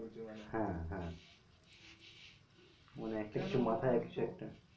হ্যাঁ হ্যাঁ মানে একটা কিছু মাথায় কিছু একটা